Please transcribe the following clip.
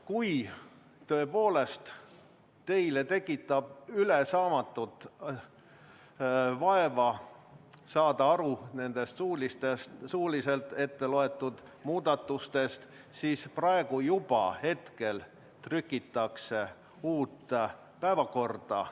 Kui tõepoolest teile tekitab ülesaamatut vaeva saada aru nendest etteloetud muudatustest, siis ütlen, et praegu juba trükitakse uut päevakorda.